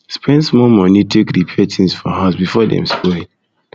spend small money take repair things for house before dem spoil